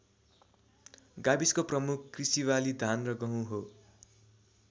गाविसको प्रमुख कृषिबाली धान र गहुँ हो।